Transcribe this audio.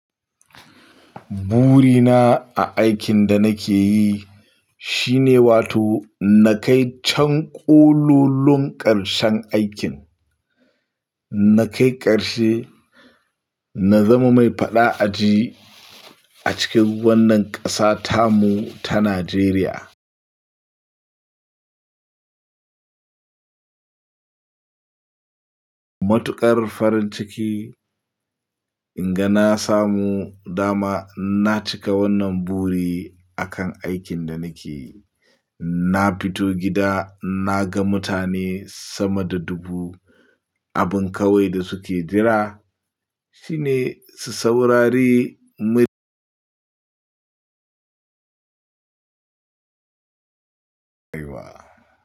Burina a aikin da nake yi shine wato na kai can ƙololon ƙarshen aikin, na kai ƙarshe na zama mai faɗa a ji a cikin wannan ƙasa tamu ta Najeriya. Matuƙar farin ciki, in ga na samu dama na cika wannan buri a kan aikin da nake yi. Na fito gida na ga mutane sama da dubu, abin ƙawai da suke jira shine su saurari mai-